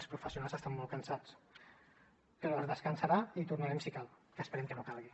els professionals estan molt cansats però es descansarà i tornarem si cal que esperem que no calgui